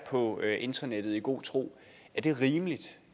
på internettet i god tro er det rimeligt